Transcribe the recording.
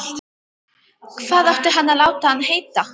Hvað ætti hann að láta hann heita?